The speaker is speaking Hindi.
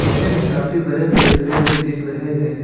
पिक्चर में काफी बड़े बड़े पेड़ भी दिख रहे हैं।